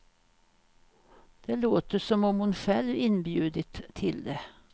Det låter som om hon själv inbjudit till det.